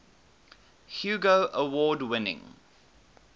hugo award winning